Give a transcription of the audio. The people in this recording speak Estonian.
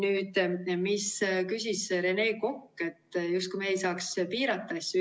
Rene Kokk küsis selle kohta, justkui me ei saaks piirata asju.